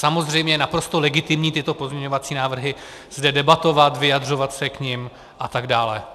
Samozřejmě je naprosto legitimní tyto pozměňovací návrhy zde debatovat, vyjadřovat se k nim a tak dále.